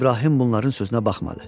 İbrahim bunların sözünə baxmadı.